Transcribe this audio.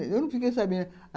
Eu não fiquei sabendo.